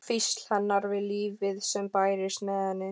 Hvísl hennar við lífið sem bærist með henni.